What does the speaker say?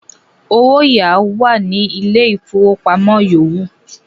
“owáyàá" wà ní Ilé-ìfowópamọ́ yòówù.